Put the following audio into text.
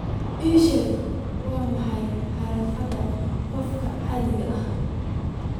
ii sheeg waa maxay xirfadda qofka caanka ah